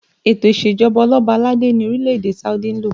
Ètò isejọba oloba aládé ni orílẹ̀ èdè Saudi ń lò